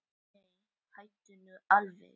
Nei, hættu nú alveg!